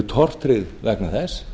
tortryggð vegna þess